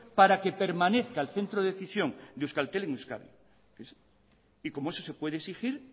para que permanezca el centro de decisión de euskaltel en euskadi y como eso se puede exigir